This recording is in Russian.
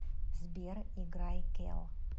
сбер играй кел